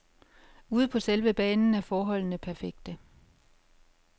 Ude på selv banen er forholdene perfekte.